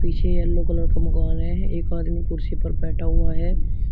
पीछे yellow colour का मकान है एक आदमी कुर्सी पर बैठा हुआ है।